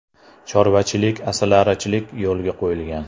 Chorvachilik, asalarichilik yo‘lga qo‘yilgan.